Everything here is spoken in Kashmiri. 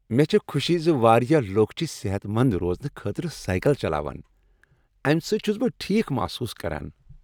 مےٚ چھےٚ خوشی ز واریاہ لکھ چھ صحت مند روزنہٕ خٲطرٕ سایکل چلاوان۔ امہ سۭتۍ چھس بہٕ ٹھیک محسوس کران۔